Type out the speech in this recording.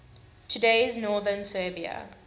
today's northern serbia